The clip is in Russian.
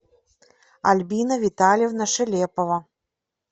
альбина витальевна шелепова